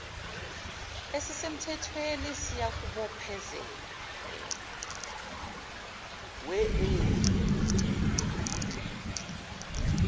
esisemthethweni siyakubophezela wean